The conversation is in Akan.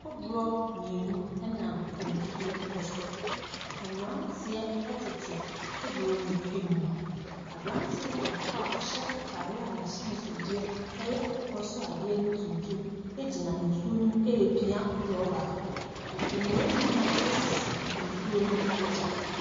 Kodoɔ mmienu ɛnam nsuo ɛso. Mmranteɛ ɛtete kodoɔ no ɛmu. Abranteɛ baako a ɔhyɛ ataareɛ a n'ahyɛnso deɛ ɛyɛ akokɔsrade ne tuntum agyina nsuo ne mu epea kodoɔ baako. Nnua nnua asisi nsuo no agya.